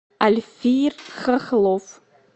альфир хохлов